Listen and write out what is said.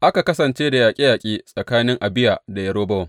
Aka kasance da yaƙe yaƙe tsakanin Abiya da Yerobowam.